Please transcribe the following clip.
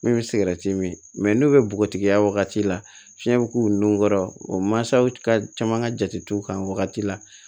Min bɛ sigɛrɛti min n'o bɛ bɔgɔtigiya wagati la fiɲɛ bɛ k'u nun kɔrɔ o mansaw ka caman ka jate u kan o wagati la